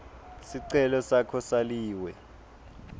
sicelo sakho saliwe